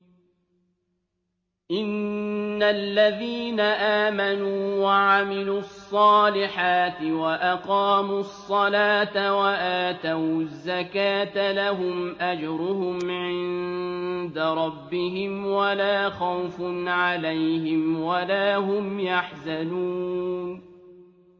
إِنَّ الَّذِينَ آمَنُوا وَعَمِلُوا الصَّالِحَاتِ وَأَقَامُوا الصَّلَاةَ وَآتَوُا الزَّكَاةَ لَهُمْ أَجْرُهُمْ عِندَ رَبِّهِمْ وَلَا خَوْفٌ عَلَيْهِمْ وَلَا هُمْ يَحْزَنُونَ